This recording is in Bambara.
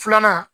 Filanan